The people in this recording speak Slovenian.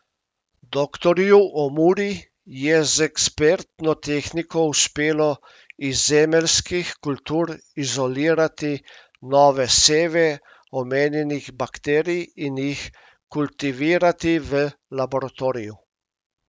Doktorju Omuri je z ekspertno tehniko uspelo iz zemeljskih kultur izolirati nove seve omenjenih bakterij in jih kultivirati v laboratoriju.